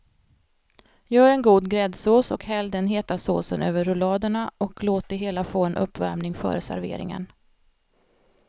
Gör en god gräddsås och häll den heta såsen över rulladerna och låt det hela få en uppvärmning före serveringen.